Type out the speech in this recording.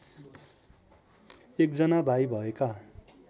एकजना भाइ भएका